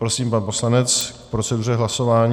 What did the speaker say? Prosím, pan poslanec k proceduře hlasování.